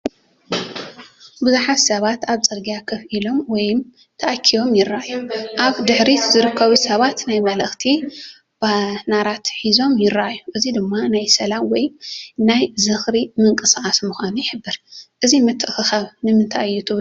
ብዙሓት ሰባት ኣብ ጽርግያ ኮፍ ኢሎም ወይ ተኣኪቦም ይረኣዩ። ኣብ ድሕሪት ዝርከቡ ሰባት ናይ መልእኽቲ ባነራት ሒዞም ይረኣዩ፣ እዚ ድማ እዚ ናይ ሰላም ወይ ናይ ዝኽሪ ምንቅስቓስ ምዃኑ ይሕብር። እዚ ምትእኽኻብ ንምንታይ እዩ ትብሉ?